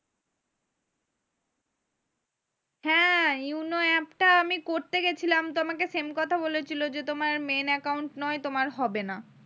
হ্যাঁ yono app টা আমি করতে গেছিলাম তো আমাকে same কথা বলেছিলো যে তোমার main account নয় তোমার হবে না।